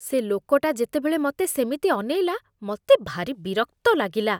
ସେ ଲୋକଟା ଯେତେବେଳେ ମତେ ସେମିତି ଅନେଇଲା, ମତେ ଭାରି ବିରକ୍ତ ଲାଗିଲା ।